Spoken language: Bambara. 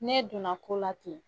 N'e donna ko la ten.